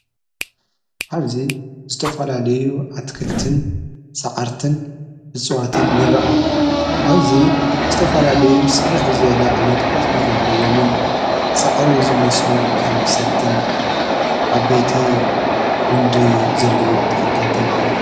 ኣብዚ ዝተፍላለዩ ኣትክልትን ሰዓርትን ብጽዋትን ይራእ እዩ ኣብዚ ዝተፋላለዩ ሰብሕ ዘለ ዒይነት ቖጽሊ ዘለዎምን ሠዕሪ መስሉ ኸም ሰትን ዓበይቲ ጕንዲ ዘለዎም ተኽልታትን ይረኣዩ።